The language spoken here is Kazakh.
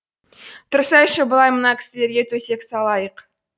тұрсайшы былай мына кісілерге төсек салайық